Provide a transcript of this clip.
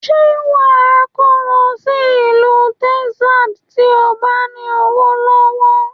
Ṣé wa kó lọ sí ìlú Texas, tí o bá ní owó lọ́wọ́?